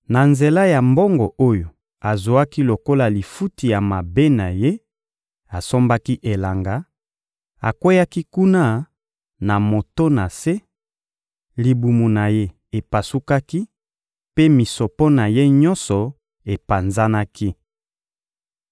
Na nzela ya mbongo oyo azwaki lokola lifuti ya mabe na ye, asombaki elanga; akweyaki kuna moto na se, libumu na ye epasukaki, mpe misopo na ye nyonso epanzanaki.